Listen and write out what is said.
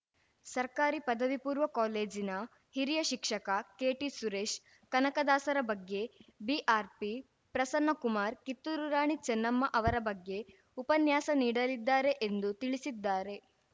ಸರ್ಕಾರಿ ಪದವಿ ಪೂರ್ವ ಕಾಲೇಜಿನ ಹಿರಿಯ ಶಿಕ್ಷಕ ಕೆಟಿಸುರೇಶ್‌ ಕನಕದಾಸರ ಬಗ್ಗೆ ಬಿಆರ್‌ಪಿ ಪ್ರಸನ್ನಕುಮಾರ್‌ ಕಿತ್ತೂರು ರಾಣಿ ಚೆನ್ನಮ್ಮ ಅವರ ಬಗ್ಗೆ ಉಪನ್ಯಾಸ ನೀಡಲಿದ್ದಾರೆ ಎಂದು ತಿಳಿಸಿದ್ದಾರೆ